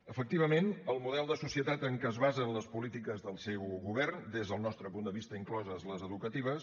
efectivament el model de societat en què es basen les polítiques del seu govern des del nostre punt de vista incloses les educatives